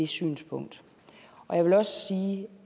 synspunkt og jeg vil også sige